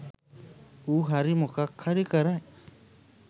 ඌ හරි මොකක් හරි කරයි